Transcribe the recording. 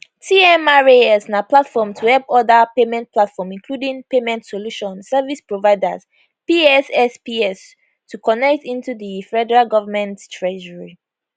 tmras na platform to help oda payment platform including payment solution service providers pssps to connect into di federal government treasury